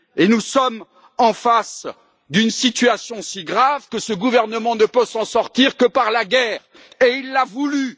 Nous sommes en face d'une situation si grave que ce gouvernement ne peut s'en sortir que par la guerre, et il l'a voulue.